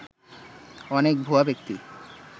অনেক ভুয়া ব্যক্তি